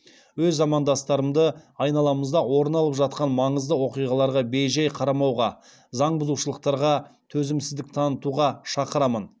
өз замандастарымды айналамызда орын алып жатқан маңызды оқиғаларға бей жай қарамауға заң бұзушылықтарға төзімсіздік танытуға шақырамын